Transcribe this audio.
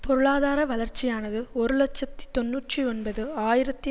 பொருளாதார வளர்ச்சியானது ஒரு இலட்சத்தி தொன்னூற்றி ஒன்பது ஆயிரத்தி